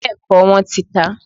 Bẹ́ẹ̀kọ́, wọn ò tí tàá